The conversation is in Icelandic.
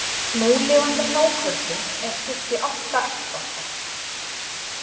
Núlifandi hákörlum er skipt í átta ættbálka.